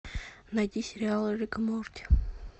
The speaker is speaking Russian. найди сериал рик и морти